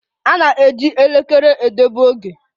A na-eji elekere edebe oge.